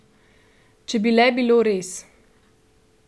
Če bi le bilo res!